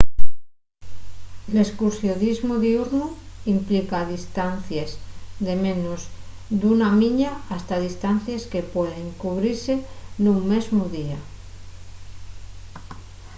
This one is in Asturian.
l’escursionismu diurnu implica distancies de menos d’una milla hasta distancies que pueden cubrise nun mesmu día